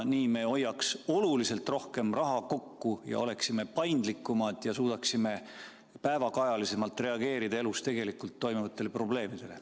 Nii me hoiaks oluliselt rohkem raha kokku ja oleksime paindlikumad ja suudaksime päevakajalisemalt reageerida elus tegelikult toimuvatele probleemidele.